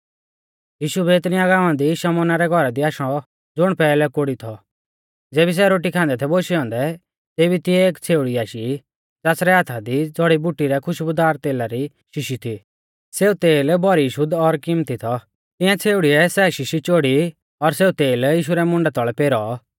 यीशु बैतनिय्याह गाँवा दी शमौना रै घौरा दी आशौ ज़ुण पैहलै कोढ़ी थौ ज़ेबी सै रोटी खांदै थै बोशै औन्दै तेभी तिऐ एक छ़ेउड़ी आशी ज़ासरै हाथा दी ज़ौड़ीबुटी रै खुशबुदार तेला री शीशी थी सेऊ तेल भौरी शुद्ध और किमत्ती थौ तिऐं छ़ेउड़ीऐ सै शीशी चोड़ी और सेऊ तेल यीशु रै मुंडा तौल़ै पेरौ